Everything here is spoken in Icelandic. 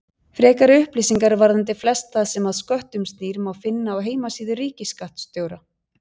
Frekari upplýsingar varðandi flest það sem að sköttum snýr má finna á heimasíðu ríkisskattstjóra.